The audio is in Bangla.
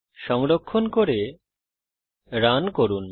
সংরক্ষণ করে রান করুন